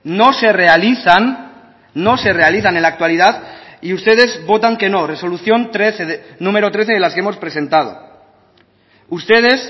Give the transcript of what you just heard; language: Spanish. no se realizan no se realizan en la actualidad y ustedes votan que no resolución trece numero trece de las que hemos presentado ustedes